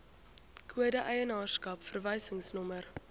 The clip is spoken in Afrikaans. kode eienaarskap verwysingsnommer